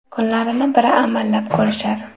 Kunlarini bir amallab ko‘rishar.